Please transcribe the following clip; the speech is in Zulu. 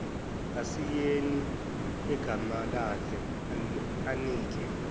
asayine igamalakhe anike